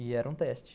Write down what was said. E era um teste.